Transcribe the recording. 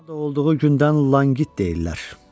Anadan olduğu gündən Lanqit deyirlər.